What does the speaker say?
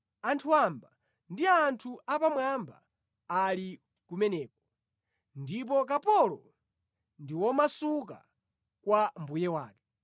Anthu wamba ndi anthu apamwamba ali kumeneko, ndipo kapolo ndi womasuka kwa mbuye wake.